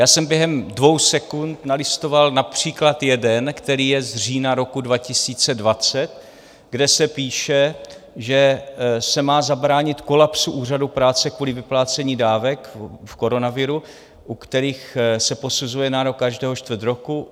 Já jsem během dvou sekund nalistoval například jeden, který je z října roku 2020, kde se píše, že se má zabránit kolapsu úřadů práce kvůli vyplácení dávek v koronaviru, u kterých se posuzuje nárok každého čtvrt roku.